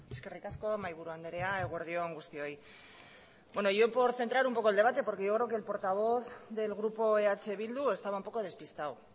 eskerrik asko mahaiburu andrea eguerdi on guztioi bueno yo por centrar un poco el debate porque yo creo que el portavoz del grupo eh bildu estaba un poco despistado